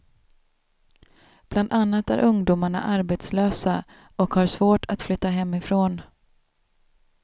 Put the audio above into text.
Bland annat är ungdomarna arbetslösa och har svårt att flytta hemifrån.